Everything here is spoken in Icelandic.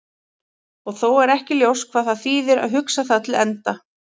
Og þó er ekki ljóst hvað það þýðir að hugsa það til enda.